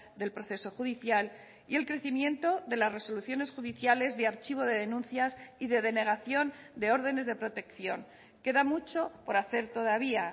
del proceso judicial y el crecimiento de las resoluciones judiciales de archivo de denuncias y de denegación de órdenes de protección queda mucho por hacer todavía